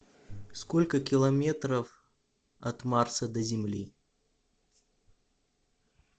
сколько километров от марса до земли